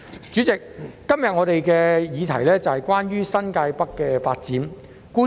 主席，今天我們的議題是關於新界北的發展。